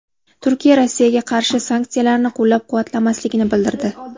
Turkiya Rossiyaga qarshi sanksiyalarni qo‘llab-quvvatlamasligini bildirdi.